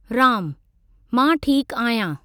रामः मां ठीक आहियां।